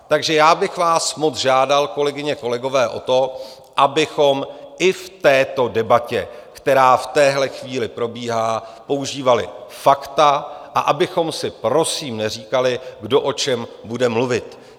Takže já bych vás moc žádal, kolegyně, kolegové, o to, abychom i v této debatě, která v téhle chvíli probíhá, používali fakta a abychom si prosím neříkali, kdo o čem bude mluvit.